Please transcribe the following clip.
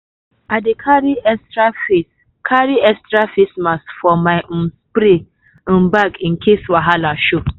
i dey carry extra face carry extra face mask for my um spray um bag in case wahala show.